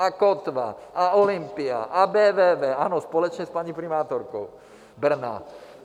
A Kotva a Olympia a BVV, ano, společně s paní primátorkou Brna.